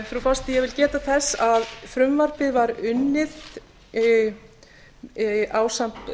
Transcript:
frú forseti ég vil geta þess að frumvarpið var unnið ásamt